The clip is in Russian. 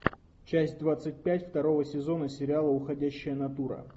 часть двадцать пять второго сезона сериала уходящая натура